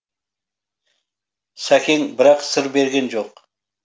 сәкең бірақ сыр берген жоқ